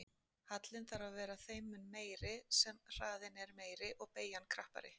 Hallinn þarf að vera þeim mun meiri sem hraðinn er meiri og beygjan krappari.